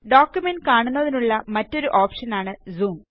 document കാണുന്നതിനുള്ള മറ്റൊരു ഓപ്ഷനാണ്Zoom